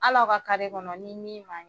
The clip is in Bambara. Hali a ka kɔnɔ ni min maɲi